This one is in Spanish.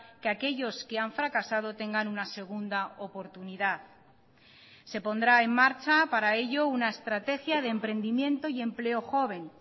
que aquellos que han fracasado tengan una segunda oportunidad se pondrá en marcha para ello una estrategia de emprendimiento y empleo joven